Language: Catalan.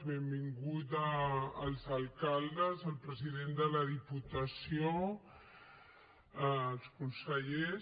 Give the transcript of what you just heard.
benvinguts els alcaldes el president de la diputació els consellers